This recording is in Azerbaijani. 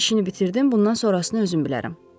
İşini bitirdim, bundan sonrasını özüm bilərəm”.